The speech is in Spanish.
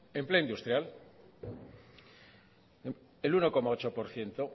empleo industrial el uno coma ocho por ciento